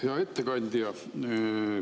Hea ettekandja!